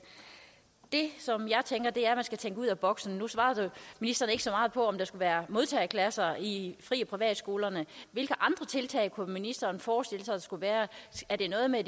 det som jeg tænker er at man skal tænke ud af boksen nu svarede ministeren ikke så meget på om der skulle være modtageklasser i fri og privatskolerne hvilke andre tiltag kunne ministeren forestille sig der skulle være er det noget med at